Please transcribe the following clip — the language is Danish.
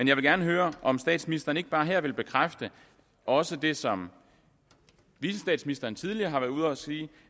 jeg vil gerne høre om statsministeren ikke bare her vil bekræfte også det som vicestatsministeren tidligere har været ude at sige